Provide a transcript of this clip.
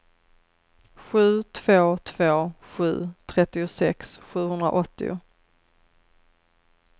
sju två två sju trettiosex sjuhundraåttio